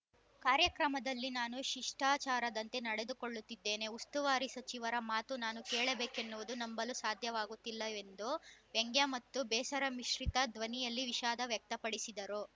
ಕಾರ್ಯಕ್ರಮದಲ್ಲಿ ನಾನು ಶಿಷ್ಟಾಚಾರದಂತೆ ನಡೆದುಕೊಳ್ಳುತ್ತಿದ್ದೇನೆ ಉಸ್ತುವಾರಿ ಸಚಿವರ ಮಾತು ನಾನು ಕೇಳಬೇಕೆನ್ನುವುದು ನಂಬಲು ಸಾಧ್ಯವಾಗುತ್ತಿಲ್ಲ ಎಂದು ವ್ಯಂಗ್ಯ ಮತ್ತು ಬೇಸರ ಮಿಶ್ರಿತ ಧ್ವನಿಯಲ್ಲಿ ವಿಷಾದ ವ್ಯಕ್ತಪಡಿಸಿದರು